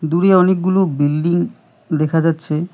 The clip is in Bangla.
দূরে অনেকগুলো বিল্ডিং দেখা যাচ্ছে।